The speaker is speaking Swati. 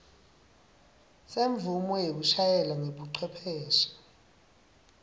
semvumo yekushayela ngebucwepheshe